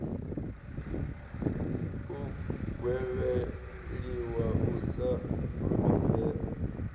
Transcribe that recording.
u gwevheliwa u sa fulufhedzea